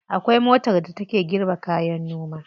Akwai motar da take girbe kayan noma.